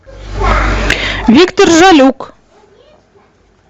виктор жалюк